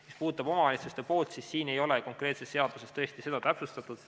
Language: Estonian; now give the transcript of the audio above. Mis puudutab omavalitsusi, siis konkreetses seaduses ei ole tõesti seda täpsustatud.